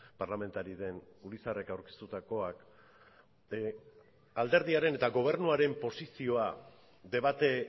parlamentari den urizarrek aurkeztutakoak alderdiaren eta gobernuaren posizioa debate